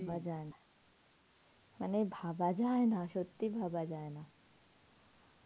ভাবা যায় না. মানে ভাবা যায় না, সত্যি ভাবা যায় না.